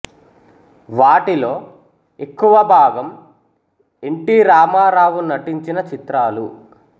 వాటిలో ఎక్కువ భాగం ఎన్ టి రామారావు నటించిన చిత్రాలు